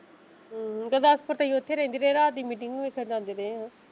ਗੁਰਦਾਸਪੁਰ ਤੇ ਉੱਥੇ ਰਹਿੰਦੇ ਰਹੇ ਰਾਤ ਦੀ ਮੀਟਿੰਗ ਵੇਖਣ ਜਾਂਦੇ ਰਹੇ ਆ।